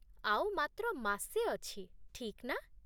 ଆଉ ମାତ୍ର ମାସେ ଅଛି, ଠିକ୍ ନା?